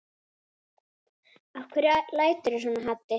Af hverju læturðu svona Haddi?